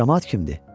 Camaat kimdir?